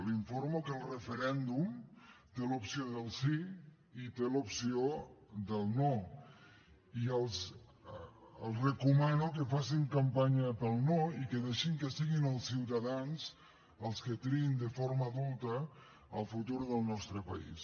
la informo que el referèndum té l’opció del sí i té l’opció del no i els recomano que facin campanya pel no i que deixin que siguin els ciutadans els que triïn de forma adulta el futur del nostre país